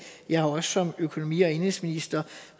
jeg har også som økonomi og indenrigsminister